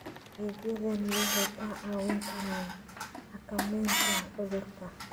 Adeegyadani waxay kaa caawin karaan xakamaynta cudurka.